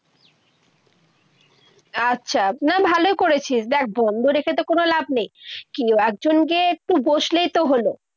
আচ্ছা, না ভালোই করেছিস। দেখ, বন্ধ দেখে তো কোনো লাভ নেই। কেউ একজনকে একটু বসলেই তো হলো।